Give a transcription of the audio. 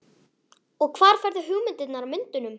Og hvar færðu hugmyndirnar að myndunum?